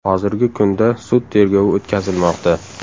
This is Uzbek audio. Hozirgi kunda sud tergovi o‘tkazilmoqda.